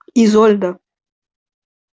изольда